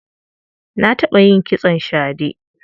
Na taɓa yin kitson shade.